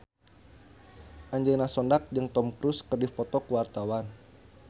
Angelina Sondakh jeung Tom Cruise keur dipoto ku wartawan